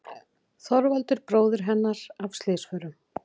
Þorvaldur bróðir hennar af slysförum.